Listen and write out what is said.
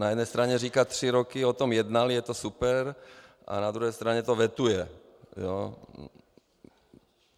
Na jedné straně říká tři roky o tom jednal, je to super, a na druhé straně to vetuje.